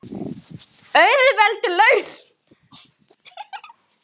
Auðveld lausn.